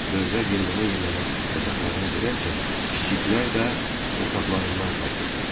Böyüklər yellənə-yellənə yataqlarına girərkən, kiçiklər də yataqlarından qalxırdılar.